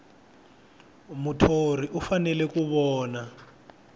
muthori u fanele ku vona